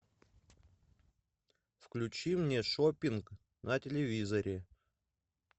включи мне шопинг на телевизоре